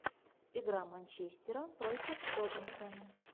игра манчестера против тоттенхэма